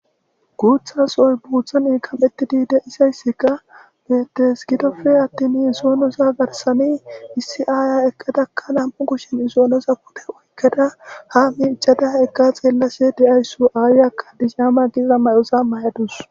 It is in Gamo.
Guuthas sohoy guutho kamettidi deyidayssika betes gidope attini isoonosa garsani issi aaya ekkadakka namu'u kushen isoonosa pude oykkada ha'i icadah eqqa xeellashe de'ayssu aayaka bizhama giza mayosa mayadus.